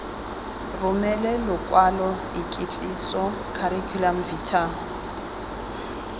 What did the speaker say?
romele lokwalo ikitsiso curriculum vitae